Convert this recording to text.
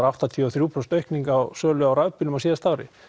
áttatíu og þrjú prósent aukning á sölu rafbíla á síðast ári